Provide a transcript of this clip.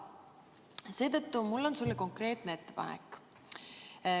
Seetõttu mul on sulle konkreetne ettepanek.